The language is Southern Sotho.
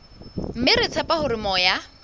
mme re tshepa hore moya